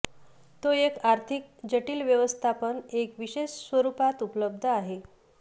तो एक आर्थिक जटिल व्यवस्थापन एक विशेष स्वरूपात उपलब्ध आहे